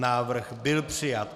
Návrh byl přijat.